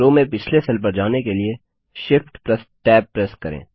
रो में पिछले सेल पर जाने के लिए Shift Tab प्रेस करें